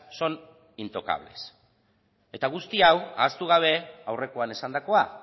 son intocables eta guzti hau ahaztu gabe aurrekoan esandakoa